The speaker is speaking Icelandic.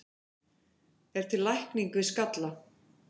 er til lækning við skalla